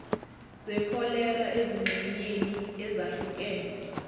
zekholera ezingxenyeni ezahlukene